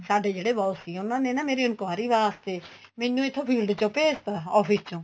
ਸਾਡੇ ਜਿਹੜੇ boss ਸੀ ਉਹਨਾ ਨੇ ਨਾ ਮੇਰੀ enquiry ਵਾਸਤੇ ਮੈਨੂੰ ਇੱਥੋ field ਚੋ ਭੇਜ ਤਾਂ office ਚੋ